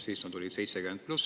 Siis nad olid 70 pluss.